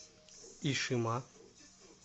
ишима